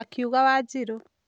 " akiuga wanjiru